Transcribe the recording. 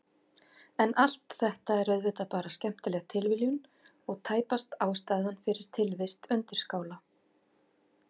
En allt þetta er auðvitað bara skemmtileg tilviljun og tæpast ástæðan fyrir tilvist undirskála.